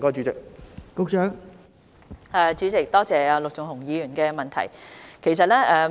代理主席，多謝陸頌雄議員的補充質詢。